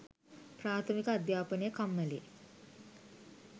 ප්‍රාථමික අධ්‍යාපනය කම්මලේ